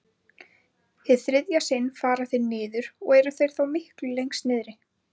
Hið þriðja sinn fara þeir niður og eru þeir þá miklu lengst niðri.